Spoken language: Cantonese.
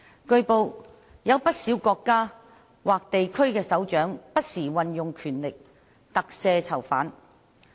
據報，有不少國家或地區的首長不時運用權力特赦囚犯。